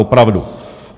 Opravdu.